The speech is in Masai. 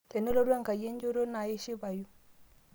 tenelotu enkai enchoto ino naa ishipayu